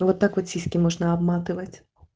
вот так вот сиськи можно обматывать